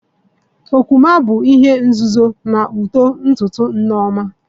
Okwuma bụ ihe nzuzo na uto ntutu Nneoma